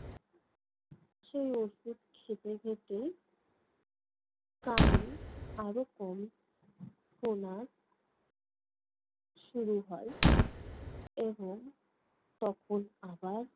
সে ঔষধ খেতে খেতে কানে আরো কম শোনা শুরু হয় এবং তখন আবার